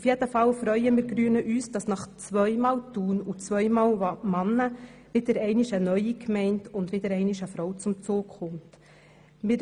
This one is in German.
Auf jeden Fall freuen wir Grüne uns, dass nach zweimal Thun und zwei Männern nun wieder einmal eine neue Gemeinde und wieder einmal eine Frau zum Zuge kommen wird.